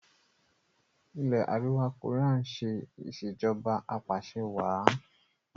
ilé àríwá Korea ṣe Ìṣèjọba Apàṣẹwàá